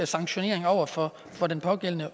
sanktionering over for for de pågældende